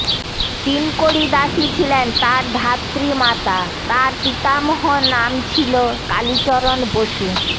তিনকড়ি দাসী ছিলেন তাঁর ধাত্রী মাতা তাঁর পিতামহ নাম ছিলেন কালীচরণ বসু